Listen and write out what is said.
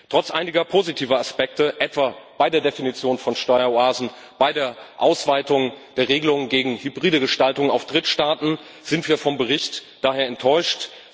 Trotz einiger positiver Aspekte etwa bei der Definition von Steueroasen, bei der Ausweitung der Regelungen gegen hybride Gestaltungen auf Drittstaaten sind wir vom Bericht daher enttäuscht.